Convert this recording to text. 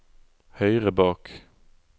høyre bak